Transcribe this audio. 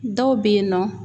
Dɔw bɛ yen nɔ